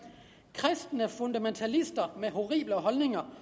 kristne fundamentalister med horrible holdninger